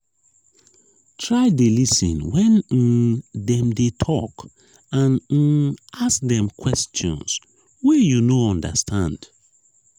try de lis ten when um dem de talk and um ask dem questions wey you no understand